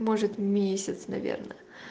может месяц наверное